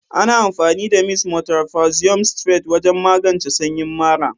Ana amfani da "mist potassium citrate" wajen magance sanyin mara.